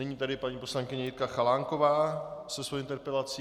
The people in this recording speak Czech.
Nyní tedy paní poslankyně Jitka Chalánková se svou interpelací.